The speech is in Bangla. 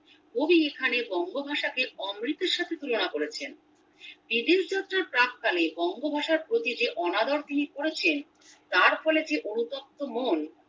কবি এখানে বঙ্গভাষাকে অমৃতের সাথে তুলোনা করেছেন বিদেশ যাত্রার প্রাক্কালে বঙ্গভাষার প্রতি যে অনাদর তিনি করেছেন তার ফলে যে অনুতপ্ত মন